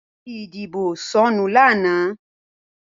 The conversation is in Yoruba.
Káàdì ìdìbò sọnù lánàá.